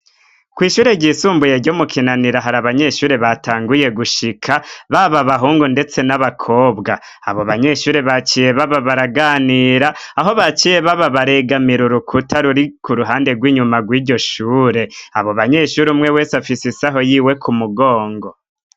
Kw'ishure ryisumbuye ryo mu Kinanira, hari abanyeshuri batanguye gushika, baba abahungu ndetse n'abakobwa. Abo banyeshuri baciye baba baraganira, aho baciye baba baregamira urukuta ruri k'uruhande rw'inyuma rw'iryo shure, abo banyeshuri umwe wese afise isaho yiwe ku mugongo.